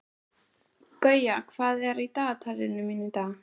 Guja, hvað er í dagatalinu mínu í dag?